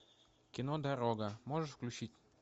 кино дорога можешь включить